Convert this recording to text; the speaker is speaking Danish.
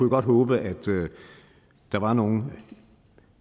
godt håbe at der var nogle